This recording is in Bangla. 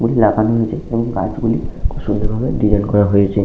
লাগানো হয়েছে এবং গাছ গুলি খুব সুন্দর ভাবে ডিসাইন করা হয়েছে।